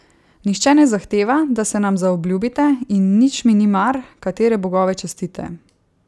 Nihče ne zahteva, da se nam zaobljubite, in nič mi ni mar, katere bogove častite.